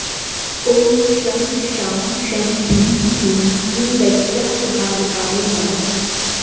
ॐ शं शां षं ह्रीं क्लीं गुरुदैत्यापहारकाय नमः